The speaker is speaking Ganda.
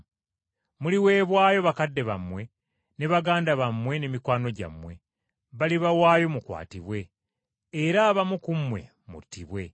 Muliweebwayo bakadde bammwe, ne baganda bammwe ne mikwano gyammwe, balibawaayo mukwatibwe, era abamu ku mmwe muttibwe.